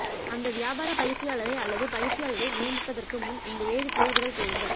அந்த வியாபார பயிற்சியாளரை அல்லது பயிற்சியாளரை நியமிப்பதற்கு முன் இந்த ஏழு கேள்விகள் கேளுங்கள்